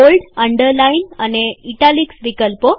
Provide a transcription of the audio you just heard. bold underline અને italics વિકલ્પો